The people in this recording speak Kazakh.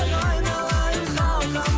айналайын халқым